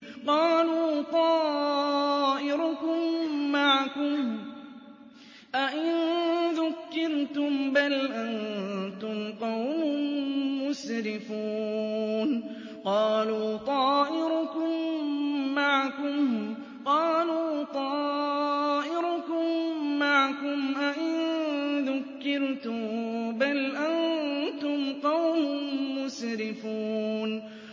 قَالُوا طَائِرُكُم مَّعَكُمْ ۚ أَئِن ذُكِّرْتُم ۚ بَلْ أَنتُمْ قَوْمٌ مُّسْرِفُونَ